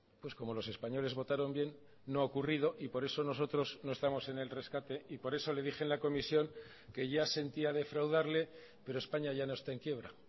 pues como los españoles votaron bien no ha ocurrido y por eso nosotros no estamos en el rescate y por eso le dije en la comisión que ya sentía defraudarle pero españa ya no está en quiebra